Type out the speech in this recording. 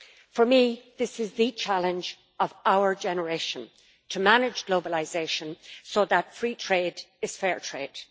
For me, this is the challenge of our generation to manage globalisation so that free trade is fair trade.